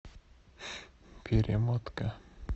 перемотка